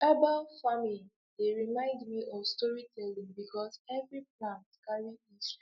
herbal farming dey remind me of storytelling because every plant carry history